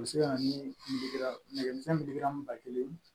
U bɛ se ka na ni nɛgɛmisɛnnin ba kelen ye